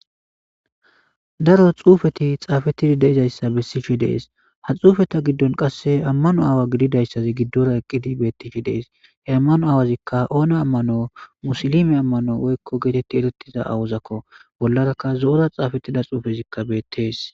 daro xuufeti xaafettidi deizayssa bessishi dees ha xuufeta giddon qasse ammano aawa gididayssazi giddora eqqidi bettishi dees he ammano aawazikka oona ammano musilime ammano woykko geetetti erettiza awuzakko bollarakka zo'ora xaafettida xuufezikka beettees.